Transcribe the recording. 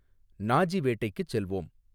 Nazi வேட்டைக்குச் செல்வோம்